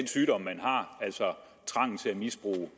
sygdom de har altså trangen til at misbruge